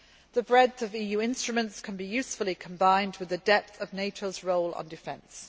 The breadth of EU instruments can be usefully combined with the depth of NATO's role on defence.